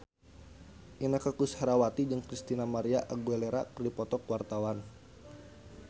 Inneke Koesherawati jeung Christina María Aguilera keur dipoto ku wartawan